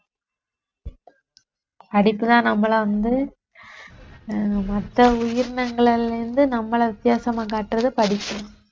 படிப்புதான் நம்மளை வந்து அஹ் மத்த உயிரினங்கள்ல இருந்து நம்மளை வித்தியாசமா காட்டுறது படிப்புதான்